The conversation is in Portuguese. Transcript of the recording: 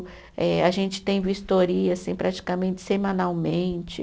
Eh a gente tem vistoria assim praticamente semanalmente.